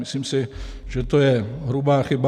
Myslím si, že to je hrubá chyba.